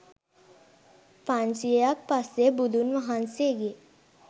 පන්සියයක් පසේ බුදුන් වහන්සේගේ